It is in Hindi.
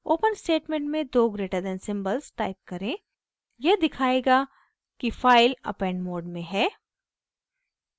open स्टेटमेंट में दो greater >> than सिम्बल्स टाइप करें यह दिखायेगा कि फाइल append mode में है